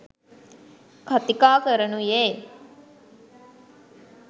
කතිකා කරනුයේ